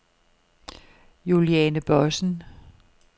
Juliane Bossen